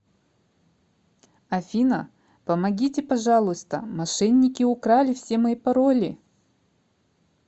афина помогите пожалуйста мошенники украли все мои пароли